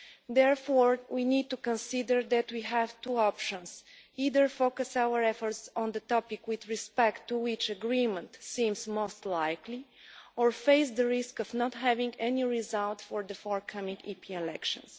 Therefore, we need to consider that we have two options either focus our efforts on the topic with respect to which agreement seems most likely, or face the risk of not having any result for the forthcoming EP elections.